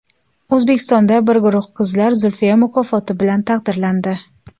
O‘zbekistonda bir guruh qizlar Zulfiya mukofoti bilan taqdirlandi.